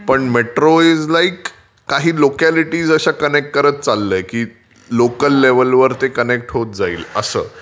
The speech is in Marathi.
पण मेट्रो इज लाइक काही लोक्यालिटीज कनेक्ट करत चाललंय की लोकल लेवलवर ते कनेक्ट होत जाईल असं.